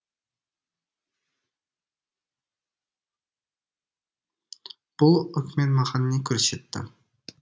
бұл өкімет маған не көрсетті